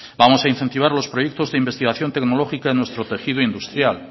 vamos a incentivar los proyectos de investigación tecnológica en nuestro tejido industrial